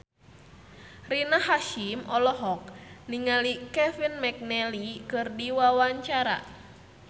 Rina Hasyim olohok ningali Kevin McNally keur diwawancara